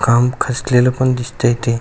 काम खचलेल पण दिसतय ते--